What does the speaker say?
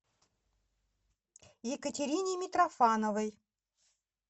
екатерине митрофановой